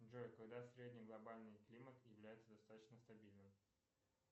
джой когда средний глобальный климат является достаточно стабильным